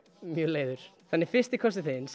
mjög leiður en fyrsti kossinn þinn